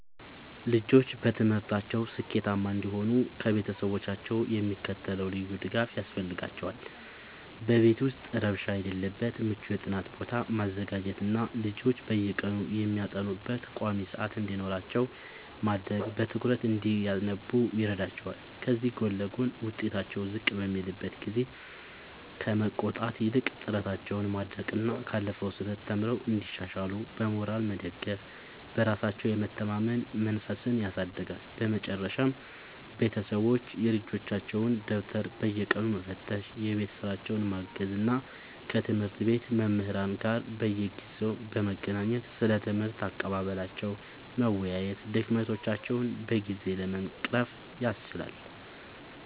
ልጆች በትምህርታቸው ስኬታማ እንዲሆኑ ከቤተሰቦቻቸው የሚከተለው ልዩ ድጋፍ ያስፈልጋቸዋል፦ በቤት ውስጥ ረብሻ የሌለበት ምቹ የጥናት ቦታ ማዘጋጀትና ልጆች በየቀኑ የሚያጠኑበት ቋሚ ሰዓት እንዲኖራቸው ማድረግ በትኩረት እንዲያነቡ ይረዳቸዋል። ከዚህ ጎን ለጎን፣ ውጤታቸው ዝቅ በሚልበት ጊዜ ከመቆጣት ይልቅ ጥረታቸውን ማድነቅና ካለፈው ስህተት ተምረው እንዲሻሻሉ በሞራል መደገፍ በራሳቸው የመተማመን መንፈስን ያሳድጋል። በመጨረሻም ቤተሰቦች የልጆቻቸውን ደብተር በየቀኑ መፈተሽ፣ የቤት ሥራቸውን ማገዝ እና ከትምህርት ቤት መምህራን ጋር በየጊዜው በመገናኘት ስለ ትምህርት አቀባበላቸው መወያየት ድክመቶቻቸውን በጊዜ ለመቅረፍ ያስችላል።